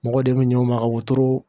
Mɔgɔ de bɛ ɲɔn ma ka wotoro